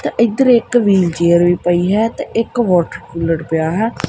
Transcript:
ਤੇ ਇੱਧਰ ਇੱਕ ਵ੍ਹੀਲ ਚੇਅਰ ਵੀ ਪਈ ਹੈ ਤੇ ਇੱਕ ਵੋਟਰਕੂਲਰ ਪਿਆ ਹੋਇਆ